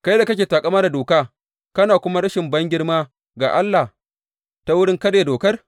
Kai da kake taƙama da doka, kana nuna rashin bangirma ga Allah ta wurin karya dokar?